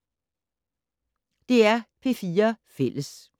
DR P4 Fælles